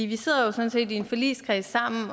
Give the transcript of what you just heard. vi sidder jo sådan set i en forligskreds sammen